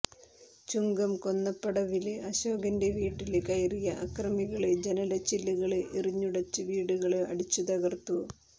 ചുങ്കം കൊന്നപ്പടവില് അശോകന്റെ വീട്ടില് കയറിയ അക്രമികള് ജനല്ച്ചില്ലുകള് എറി ഞ്ഞുടച്ച് വീടുകള് അടിച്ചുതകര്ത്തു